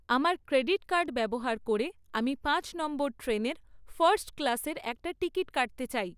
আমার credit card ব্যবহার করে আমি পাঁচ নম্বর ট্রেনের ফার্স্ট ক্লাসের একটা টিকেট কাটতে চাই